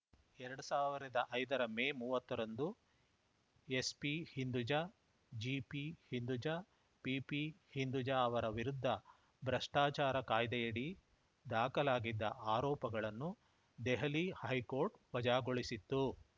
ಎರಡ್ ಸಾವಿರದ ಐದರ ಮೇ ಮೂವತ್ತ ರಂದು SP Hinduja GP Hinduja PP Hinduja ಅವರ ವಿರುದ್ಧ ಭ್ರಷ್ಟಾಚಾರ ಕಾಯ್ದೆಯಡಿ ದಾಖಲಾಗಿದ್ದ ಆರೋಪಗಳನ್ನು ದೆಹಲಿ ಹೈಕೋರ್ಟ್‌ ವಜಾಗೊಳಿಸಿತ್ತು